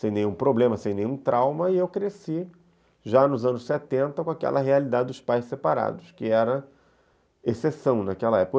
sem nenhum problema, sem nenhum trauma, e eu cresci, já nos anos setenta, com aquela realidade dos pais separados, que era exceção naquela época.